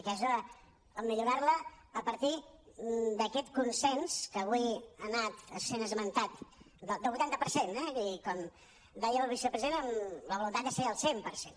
aquesta en millorar la a partir d’aquest consens que avui ha anat sent esmentat del vuitanta per cent eh com deia el vicepresident amb la voluntat de ser el cent per cent